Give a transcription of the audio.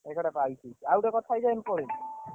ଏଇତ ଚାଲିଛି ଆଉ ଗୋଟେ କଥା ଜାଣିଛୁ।